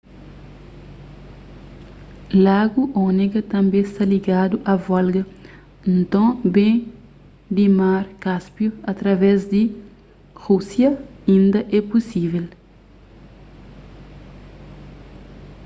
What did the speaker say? lagu onega tanbê sta ligadu a volga nton ben di mar cáspio através di rúsia inda é pusível